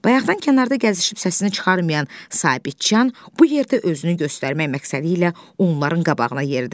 Bayaqdan kənarda gəzişib səsini çıxarmayan Sabitçan bu yerdə özünü göstərmək məqsədilə onların qabağına yeridi.